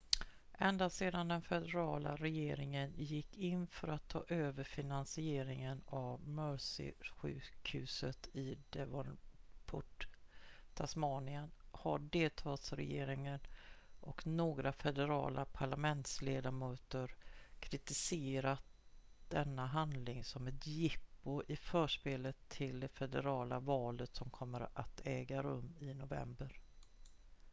ända sedan den federala regeringen gick in för att ta över finansieringen av mersey-sjukhuset i devonport tasmanien har delstatsregeringen och några federala parlamentsledamöter kritiserat denna handling som ett jippo i förspelet till det federala valet som kommer att äga rum i november